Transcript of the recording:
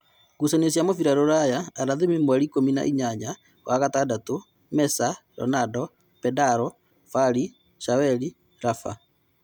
Ngucanio cia mũbira Ruraya aramithi mweri ikũmi na-inyanya wa-gatandatũ : Mesa, Ronado, pedaro, Fari, Shaweli, Laba